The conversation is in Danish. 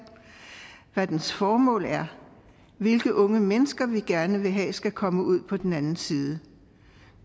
hvad dens formål er hvilke unge mennesker vi gerne vil have skal komme ud på den anden side